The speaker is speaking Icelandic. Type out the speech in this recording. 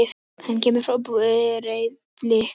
Hann kemur frá Breiðabliki.